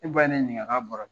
E ba ye ne ɲinika k'a bɔra